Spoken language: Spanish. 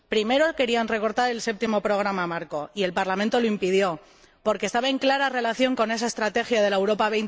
Primero querían recortar el Séptimo Programa Marco y el Parlamento lo impidió porque estaba en clara relación con esa estrategia de la Europa